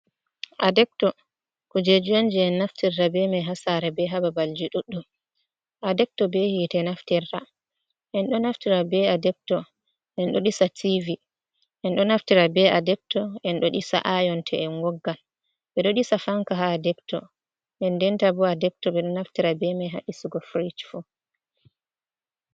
Adekto kujeji unje en naftirra be man hasara be hababal je ɗuddum a dekto be hite naftirra en do naftira be a dekto en do disa tv en do naftira be a dekto en do disa ayon te en woggan be do disa fanka ha a dekto en denta bo a dekto be do naftira be man hadisugo frij fu.